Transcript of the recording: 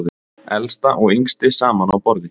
Elsta og yngsti saman á borði